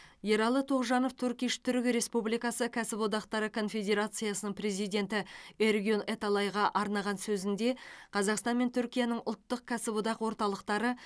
ералы тоғжанов турк иш түрік республикасы кәсіподақтары конфедерациясының президенті эргюн эталайға арнаған сөзінде қазақстан мен түркияның ұлттық кәсіподақ орталықтары